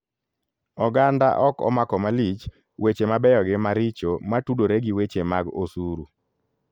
Oganda ok omako malich weche mabeyo gi maricho matudore gi weche mag osuru.